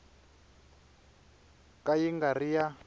ka yi nga ri ya